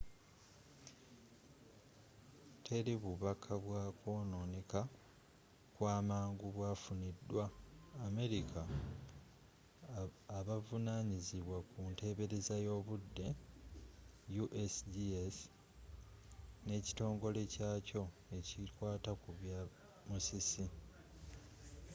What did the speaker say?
teri bubaka bwa kwonooneka kwa mangu bwafunidwa abamerika abavunanyizibwa ku nteebereza y'obuddeusgs ne kitongole kyakyo ekikwata ku bya musisi